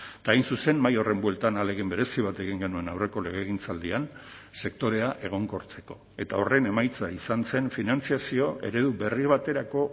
eta hain zuzen mahai horren bueltan ahalegin berezi bat egin genuen aurreko legegintzaldian sektorea egonkortzeko eta horren emaitza izan zen finantzazio eredu berri baterako